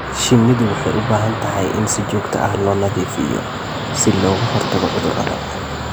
Shinnidu waxay u baahan tahay in si joogto ah loo nadiifiyo si looga hortago cudurrada.